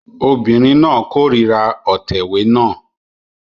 Obìnrin náà kórìíra òtẹ̀wé náà